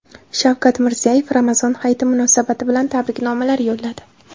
Shavkat Mirziyoyev Ramazon hayiti munosabati tabriknomalar yo‘lladi.